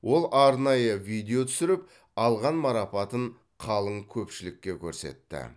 ол арнайы видео түсіріп алған марапатын қалың көпшілікке көрсетті